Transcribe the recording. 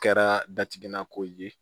Kɛra datigɛ nako ye